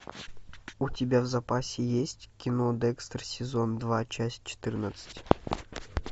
у тебя в запасе есть кино декстер сезон два часть четырнадцать